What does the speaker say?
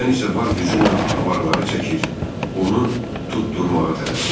Mən isə var gücümlə avaraları çəkir, onu tutdurmağa tələsirdim.